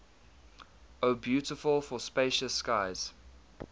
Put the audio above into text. o beautiful for spacious skies